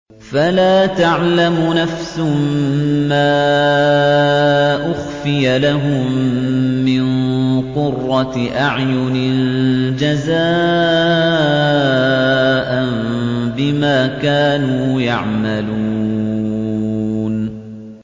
فَلَا تَعْلَمُ نَفْسٌ مَّا أُخْفِيَ لَهُم مِّن قُرَّةِ أَعْيُنٍ جَزَاءً بِمَا كَانُوا يَعْمَلُونَ